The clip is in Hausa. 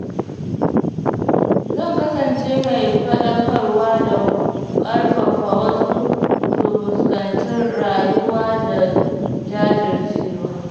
Zan kasance mai faɗakarwa da ƙarfafa wasu su fuskanci rayuwa da jajircewa.